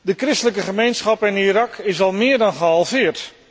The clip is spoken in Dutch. De christelijke gemeenschap in Irak is al meer dan gehalveerd.